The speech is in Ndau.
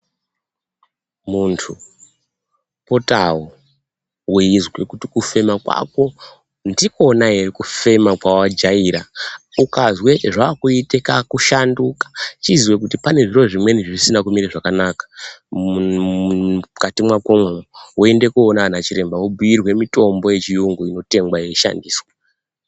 Munthu potawo weizwe kuti kufema kwako ndikwona ere kufema kwawajaera. Ukazwe zvaakuite kakuchicha, chiziya kuti pane zviro zvimweni zvisizi kuema zvakanaka mukati mwakomwo, woenda koona anachirwmba wobhuirwa mitombo yechiyungu inotengwa woshandisa.